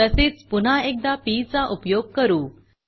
तसेच पुन्हा एकदा पी चा उपयोग करू